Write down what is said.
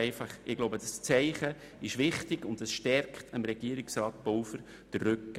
Ich glaube, das Zeichen ist wichtig und stärkt Regierungsrat Pulver den Rücken.